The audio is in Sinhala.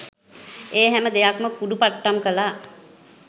ඒ හැම දෙයක් ම කුඩු පට්ටම් කළා.